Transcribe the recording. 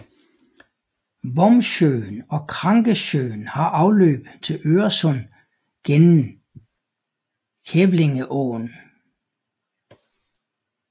Vombsjön og Krankesjön har afløb til Øresund gennem Kävlingeån